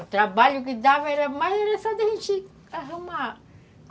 O trabalho que dava era mais, era só da gente arrumar.